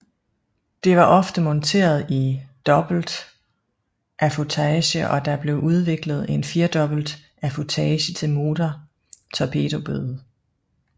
Det var ofte monteret i dobbeltaffutage og der blev udviklet en firdobbelt affutage til motor torpedobåde